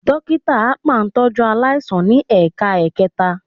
Dókítà akpa ń tọ́jú aláìsàn ní ẹ̀ka ẹ̀kẹta